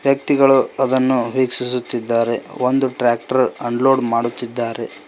ವ್ಯಕ್ತಿಗಳು ಅದನ್ನು ವೀಕ್ಷಿಸುತ್ತಿದ್ದಾರೆ ಒಂದು ಟ್ಯಾಕ್ಟರ್ ಅನ್ಲೋಡ್ ಮಾಡುತ್ತಿದ್ದಾರೆ.